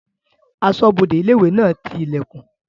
Asọ́bodè ilé-ìwé náà ti ilẹ̀kùn